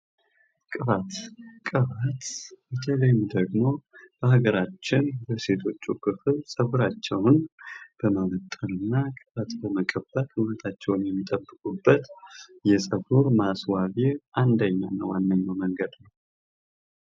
ቅባት፤ ቅባት በተለይም ደግሞ በሀገራችን በሴቶች በኩል ፀጉራቸውን በማበጠርና ቅባት በመቀባት ውበታቸውን የሚጠብቁበት የፀጉር ማስዋቢያ አንደኛና ዋነኛው መንገድ ነው።